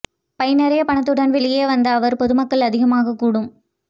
by நிறைய பணத்துடன் வெளியே வந்த அவர் பொதுமக்கள் அதிகமாக கூடும்